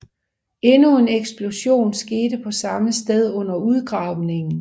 Endnu en eksplosion skete på samme sted under udgravningen